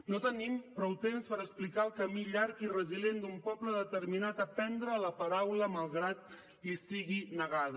no tenim prou temps per explicar el camí llarg i resilient d’un poble determinat a prendre la paraula malgrat li sigui negada